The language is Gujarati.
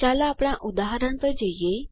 ચાલો આપણા ઉદાહરણ પર જઈએ